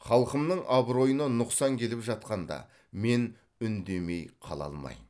халқымның абыройына нұқсан келіп жатқанда мен үндемей қала алмайм